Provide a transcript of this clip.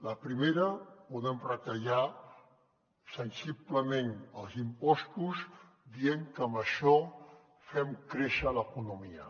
la primera podem retallar sensiblement els impostos dient que amb això fem créixer l’economia